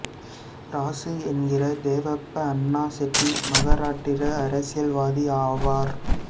ராசு என்கிற தேவப்ப அன்னா செட்டி மகாராட்டிர அரசியல்வாதி ஆவார்